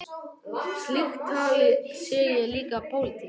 Slíkt tal sé líka pólitík.